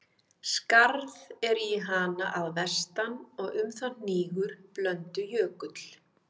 Skarð er í hana að vestan, og um það hnígur Blöndujökull.